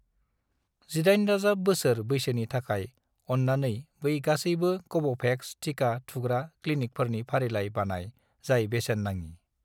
18+ बोसोर बैसोनि थाखाय, अन्नानै बै गासैबो कव'भेक्स टिका थुग्रा क्लिनिकफोरनि फारिलाइ बानाय जाय बेसेन नाङि।